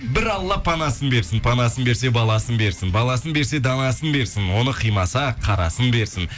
бір алла панасын берсін панасын берсе баласын берсін баласын берсе данасын берсін оны қимаса қарасын берсін